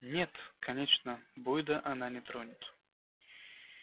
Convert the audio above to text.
нет конечно бойда она не тронет